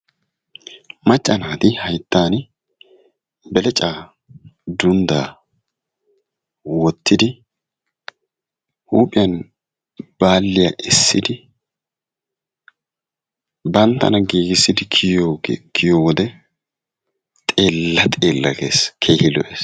Macca naati hayttan beleccaa dunddaa woottidi huuphphiyaan baalliyaa eessidi banttana giigissidi kiyiyoo wode xeella xella gees keehi lo"ees.